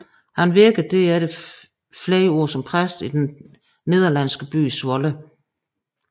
Han virkede derefter flere år som præst i den nederlandsky by Zwolle